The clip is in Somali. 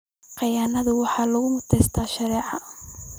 Khiyaanada waxa lagu mutaysanayaa sharci.